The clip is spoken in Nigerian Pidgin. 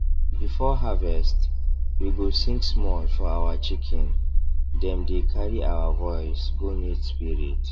before harvest we go sing small for our chicken dem dey carry our voice go meet spirit